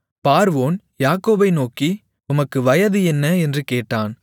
பார்வோன் யாக்கோபை நோக்கி உமக்கு வயது என்ன என்று கேட்டான்